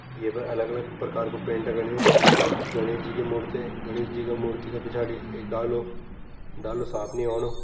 ये पर अलग अलग प्रकार कु पेंट एंच गणेश जी की मूर्ति गणेश जी की मूर्ति का पिछाड़ी एक डालु डालु साफ़ नी ओणु।